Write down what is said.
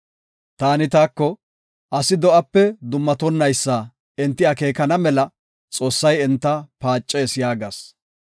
Taani taako, “Asi do7ape duumatonaysa enti akeekana mela Xoossay enta paacees” yaagas.